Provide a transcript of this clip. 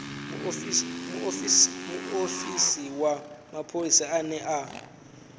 muofisi wa mapholisa ane a